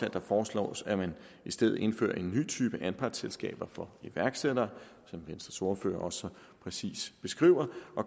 at det foreslås at man i stedet indfører en ny type anpartsselskaber for iværksættere som venstres ordfører også så præcist beskrev